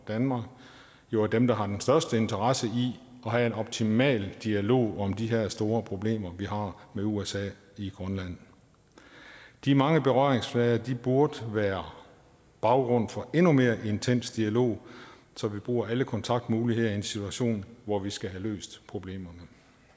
danmark jo er dem der har den største interesse i at have en optimal dialog om de her store problemer vi har med usa i grønland de mange berøringsflader burde være baggrund for endnu mere intens dialog så vi bruger alle kontaktmuligheder i en situation hvor vi skal have løst problemerne